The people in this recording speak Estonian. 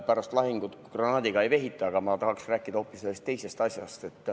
Pärast lahingut granaadiga ei vehita, aga ma tahaksin rääkida hoopis ühest teisest asjast.